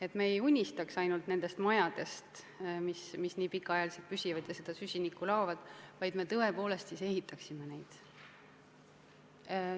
Et me ainult ei unistaks majadest, mis pikka aega püsivad ja seda süsinikku laovad, vaid et me tõepoolest ehitaksime neid.